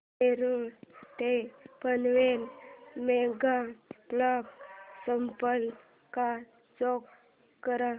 नेरूळ ते Panvel mega block संपला का चेक कर